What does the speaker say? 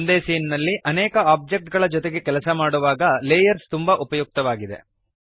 ಒಂದೇ ಸೀನ್ ನಲ್ಲಿ ಅನೇಕ ಓಬ್ಜೆಕ್ಟ್ ಗಳ ಜೊತೆಗೆ ಕೆಲಸ ಮಾಡುವಾಗ ಲೇಯರ್ಸ್ ತುಂಬಾ ಉಪಯುಕ್ತವಾಗಿದೆ